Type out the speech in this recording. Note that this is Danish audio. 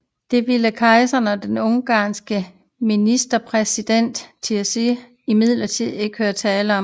Det ville kejseren og den ungarske ministerpræsident Tisza imidlertid ikke høre tale om